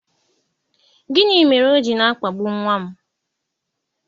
gini mere o ji na-akpagbu nwa m?